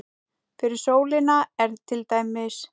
Fyrir sólina er til dæmis